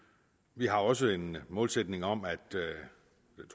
vi har også en målsætning om